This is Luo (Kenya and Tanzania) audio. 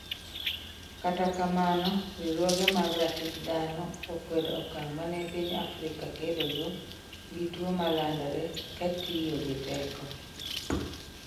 kata kamano, riwrruoge mag ratich dhano, okwedo okang' mane piny Afrika kedogo gi tuo ma landore kagitiyo gi teko